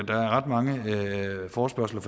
ret mange forespørgsler